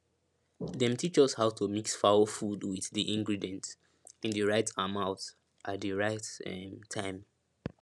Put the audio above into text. dem teach us how to mix fowl food wit di ingredient in di right amount at di right um time